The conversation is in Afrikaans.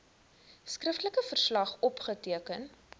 skriftelike verslag opgeteken